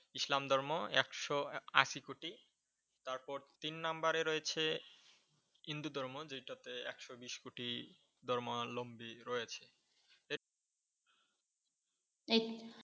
ইসলাম ধর্ম একশো আশি কোটি। তারপর তিন নাম্বারে রয়েছে হিন্দু ধর্ম যেটাতে একশো বিশ কোটি ধর্মালম্বী রয়েছে।